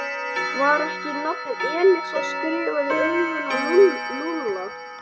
Var ekki nafnið Elísa skrifað í augun á Lúlla?